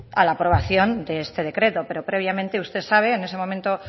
a la aprobación de este decreto pero previamente usted sabe en ese momento